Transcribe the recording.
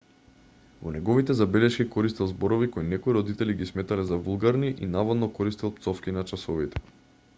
во неговите забелешки користел зборови кои некои родители ги сметале за вулгарни и наводно користел пцовки на часовите